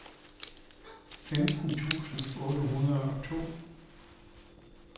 femten tusind otte hundrede og to